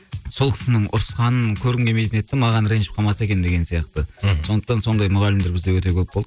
сол кісінің ұрысқанын көргім келмейтін еді де маған ренжіп қалмаса екен деген сияқты мхм сондықтан сондай мұғалімдер бізде өте көп болды